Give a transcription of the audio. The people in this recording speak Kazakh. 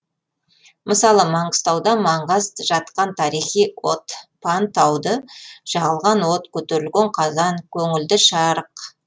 мысалы маңғыстауда маңғаз жатқан тарихи от пан тауда жағылған от көтерілген қазан көңілді шарық